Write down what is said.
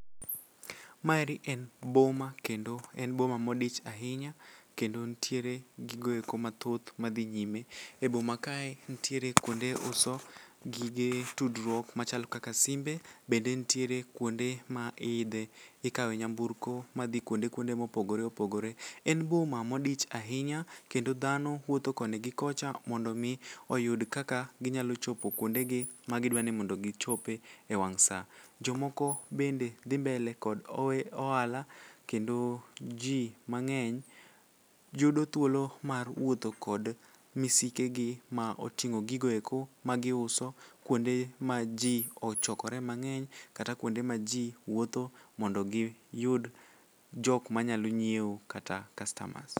Maeri en boma kendo en boma modich ahinya kendo ntiere gigo eko mathoth madhi nyime. E boma kae nitiere kuonde uso gige tudruok machal kaka simbe bende ntiere kuonde ma ikawe nyamburko madhi kuonde kuonde mopogore opogore. En boma modich ahinya kendo dhano wuotho koni gi kocha mondo omi oyud kaka ginyalo chopo kuondegi magidwani mondo gichope wang' sa. Jomoko bende dhi mbele kod ohala kendo ji mang'eny yudo thuolo mar wuotho kod misikegi ma oting'o gigoeko magiuso kuonde ma ji ochokore mang'eny kata kuonde ma ji wuotho mondo giyud jokmanyalo nyieo kata kastamas.